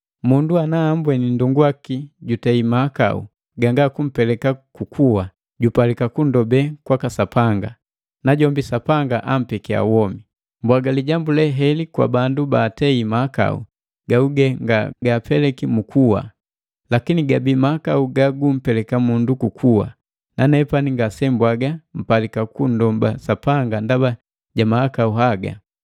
Mundu ana ambweni nndongu waki jutei mahakau ganga kumpeleka ku kuwa, jupalika kunndobe kwaka Sapanga, najombi Sapanga ampekia womi. Mbwaga lijambu le heli kwa bandu baatei mahakau gaguge nga gaapeleki mu kuwa. Lakini gabii mahakau gagumpeleka mundu ku kuwa, nanepani ngasembwaga mpalika kunndoba Sapanga ndaba ja mahakau haga.